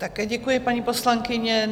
Také děkuji, paní poslankyně.